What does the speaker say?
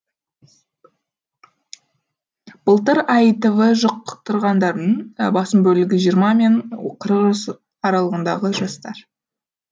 былтыр аитв жұқ тырғандардың басым бөлігі жиырма мен қырық жас аралығындағы жастар